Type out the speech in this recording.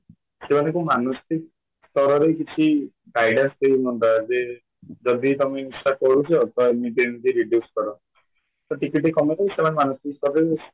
ସେମାନେ କୋଉ ମାନୁଛନ୍ତି ତାଙ୍କ ଘରେ କିଛି guidance ଦେଉ ଯଦି ତମେ ନିଶା କରୁଛ ତ ଏମିତି reduce କର ଟିକେ ଟିକେ କାମକୁ ସେମାନେ କରିଦେବେ